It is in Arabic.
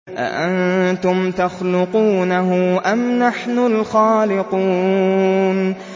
أَأَنتُمْ تَخْلُقُونَهُ أَمْ نَحْنُ الْخَالِقُونَ